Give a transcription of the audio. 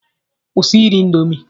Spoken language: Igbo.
Kwụsị iri indomi.